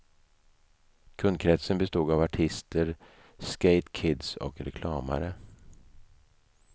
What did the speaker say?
Kundkresten bestod av artister, skatekids och reklamare.